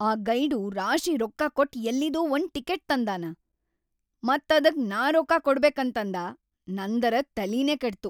ಆ ಗೈಡು ರಾಶಿ ರೊಕ್ಕಾ ಕೊಟ್ ಎಲ್ಲಿದೋ ಒಂದ್ ಟಿಕಿಟ್ ತಂದಾನ ಮತ್‌ ಅದಕ್‌ ನಾ ರೊಕ್ಕಾ ಕೊಡ್ಬೇಕಂತಂದಾ, ನಂದರೆ ತಲಿನೇ ಕೆಟ್ತು.